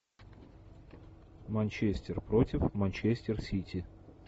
манчестер против манчестер сити